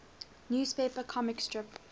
newspaper comic strip